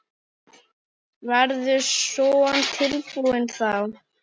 Verður Son tilbúinn þá?